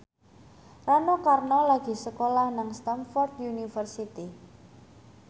Rano Karno lagi sekolah nang Stamford University